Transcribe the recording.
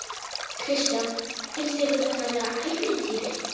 Kristján: Finnst ykkur þetta vera ævintýri?